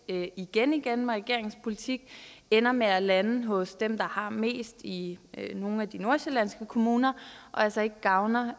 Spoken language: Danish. igen igen med regeringens politik ender med at lande hos dem der har mest i nogle af de nordsjællandske kommuner og altså ikke gavner